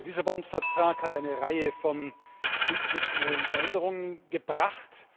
Der Lissabon Vertrag hat eine Reihe von institutionellen Veränderungen gebracht.